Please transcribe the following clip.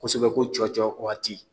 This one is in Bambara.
Kosɛbɛ ko cɔcɔ wagati